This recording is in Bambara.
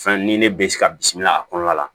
Fɛn ni ne bɛ se ka bisimila a kɔnɔna la